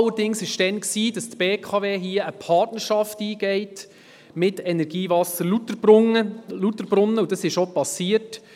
Allerdings bestand damals die Auflage, wonach die BKW AG eine Partnerschaft mit der EWL einzugehen hat, wozu es auch kam.